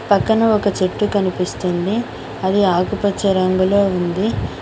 పక్కన ఒక చెట్టు కనిపిస్తుంది అది ఆకుపచ్చ రంగులో ఉంది.